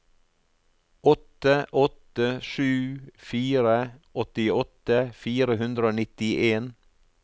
åtte åtte sju fire åttiåtte fire hundre og nittien